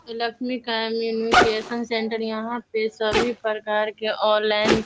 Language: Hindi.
लक्ष्मी कम्युनिकेशन सेण्टर यहाँ पे सभी के ऑनलाइन --